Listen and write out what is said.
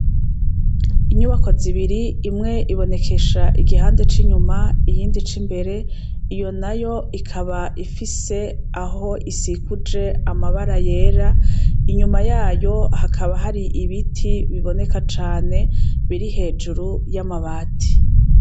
Inyubako zibiri, imwe ibonekesha igihande c'inyuma iyindi c'imbere, iyo na yo ikaba ifise aho isikuje amabara yera, inyuma yayo hakaba hari ibiti biboneka cane, biri hejuru y'amabati.